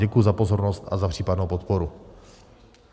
Děkuji za pozornost a za případnou podporu.